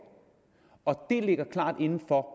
og det ligger klart inden for